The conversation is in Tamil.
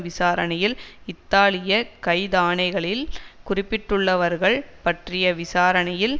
விசாரணையில் இத்தாலிய கைதாணைகளில் குறிப்பிடப்பட்டுள்ளவர்கள் பற்றிய விசாரணையில்